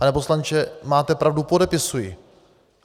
Pane poslanče, máte pravdu, podepisuji.